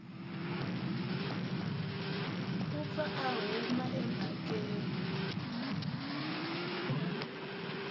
u pfa a huma emhakeni